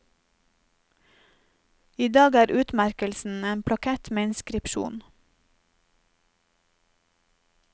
I dag er utmerkelsen en plakett med inskripsjon.